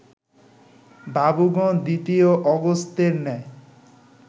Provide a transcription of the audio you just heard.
বাবুগণ দ্বিতীয় অগস্ত্যের ন্যায়